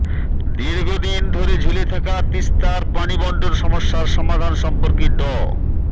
দীর্ঘদিন ধরে ঝুলে থাকা তিস্তার পানিবণ্টন সমস্যার সমাধান সম্পর্কে ড